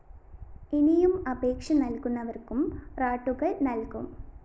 ഇനിയും അപേക്ഷ നല്‍കുന്നവര്‍ക്കും റാട്ടുകള്‍ നല്‍കും